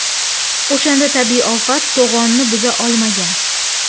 O‘shanda tabiiy ofat to‘g‘onni buza olmagan.